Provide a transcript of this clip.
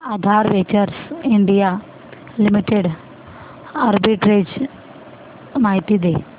आधार ventures India limited arbitrage माहिती दे